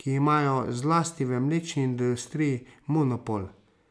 ki imajo zlasti v mlečni industriji monopol.